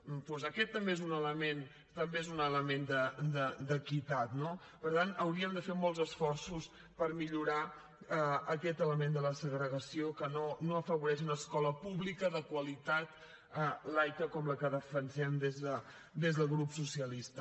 doncs aquest també és un element d’equitat no per tant hauríem de fer molts esforços per millorar aquest element de la segregació que no afavoreix una escola pública de qualitat laica com la que defensem des del grup socialista